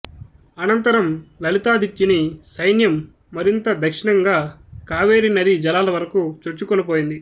అనంతరం లలితాదిత్యుని సైన్యం మరింత దక్షిణంగా కావేరి నదీ జలాల వరకూ చొచ్చుకొనిపోయింది